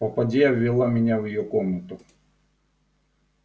попадья ввела меня в её комнату